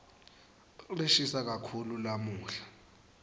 lishisa kakhulu lamuhla